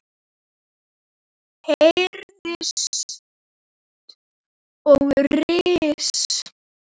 hæðir og ris.